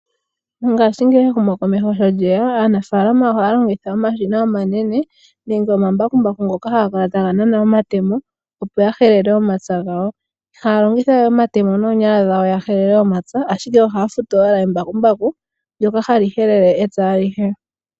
Mongashingeyi ehumo komeho sho lyeya aanafalama ohaya longitha omashina omanene nenge omambakumbaku ngoka haga nana omatemo opo ya helele omapya gawo. Ihaya longitha wee omatemo noonyala dhawo ya helele omapya, ashike ohaya futu owala embakumbaku ndyoka hali helele epya alihe.